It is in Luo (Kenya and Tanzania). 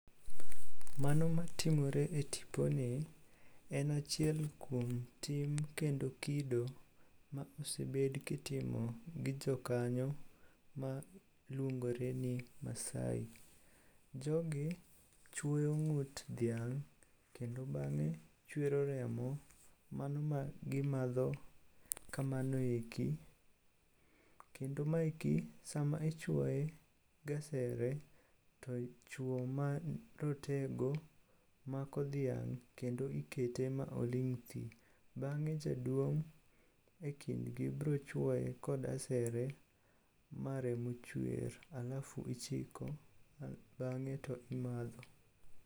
Mano matimore e tiponi, en achiel kuom tim kendo kido ma osebed kitimo gi jokanyo maluongore ni maasai. Jogi chwoyo ng'ut dhiang' kendo bang'e chwero remo mano ma gimadho kamano eki kendo maeki sama ichwoye gasere to chwo marotego mako dhiang' kendo ikete ma oling' thi. Bang'e jaduong' e kindgi brochwoye kod asere ma remo chwer alafu ichiko bang'e to imadho.